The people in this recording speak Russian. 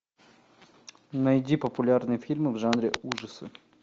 найди популярные фильмы в жанре ужасы